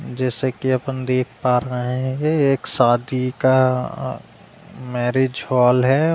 जैसे कि अपन देख पा रहे हैं एक शादी का मैरेज हॉल है।